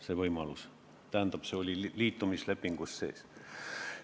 See määr oli liitumislepingus sees.